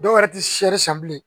Dɔw yɛrɛ ti seri san bilen